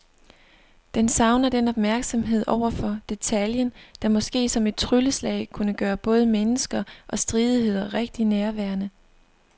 Den savner den opmærksomhed over for detaljen, der måske som et trylleslag kunne gøre både mennesker og stridigheder rigtig nærværende.